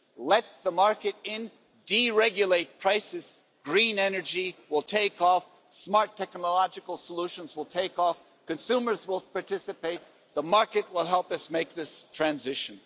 Let the market in, deregulate prices, green energy will take off, smart technological solutions will take off, consumers will participate, and the market will help us make this transition.